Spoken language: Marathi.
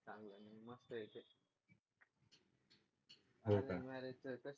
हो का मॅरेजचं तसं